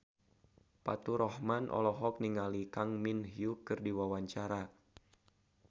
Faturrahman olohok ningali Kang Min Hyuk keur diwawancara